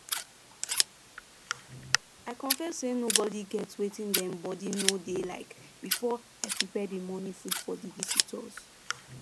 i confirm say nobody get wetin dem body no dey like before i prepare the morning food for the visitors